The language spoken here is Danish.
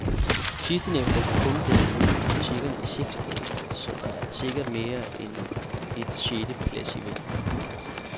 Sidstnævnte har kun været ude i butikkerne i seks dage, så der er sikkert mere end en et sjette plads i vente.